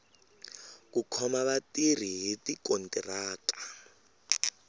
ku khoma vatirhi hi tikontiraka